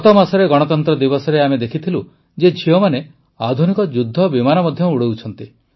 ଗତମାସରେ ଗଣତନ୍ତ୍ର ଦିବସରେ ଆମେ ଦେଖିଥିଲୁ ଯେ ଝିଅମାନେ ଆଧୁନିକ ଯୁଦ୍ଧବିମାନ ମଧ୍ୟ ଉଡ଼ାଉଛନ୍ତି